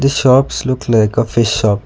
shops look like a fish shop.